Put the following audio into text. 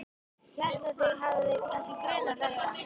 Hélt að þig hefði kannski grunað þetta.